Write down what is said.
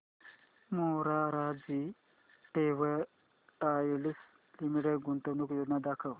Morarji Textiles Limited गुंतवणूक योजना दाखव